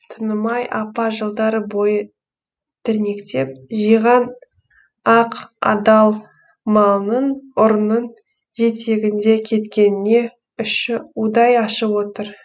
тынымай апа жылдар бойы тірнектеп жиған ақ адал малының ұрының жетегінде кеткеніне іші удай ашып отыр